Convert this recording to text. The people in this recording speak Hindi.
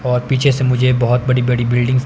और पीछे से मुझे बहुत बड़ी बड़ी बिल्डिंग्स --